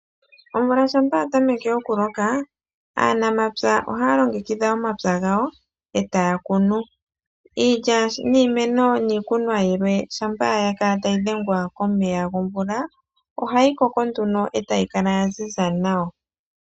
Omvula ngele yatameke okuloka aanamapya ohaya longekidha omapya gawo etaya kunu iilikolomwa yawo. Iilikolomwa ngele yakala tayi dhengwa komeya gomvula, ohayi koko nduno etayi zizi.